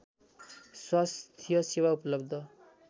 स्वास्थ्य सेवा उपलब्ध